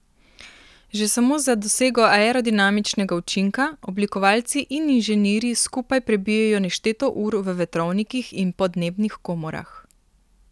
Že samo za dosego aerodinamičnega učinka oblikovalci in inženirji skupaj prebijejo nešteto ur v vetrovnikih in podnebnih komorah.